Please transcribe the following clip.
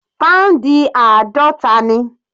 Pound àádọta ni.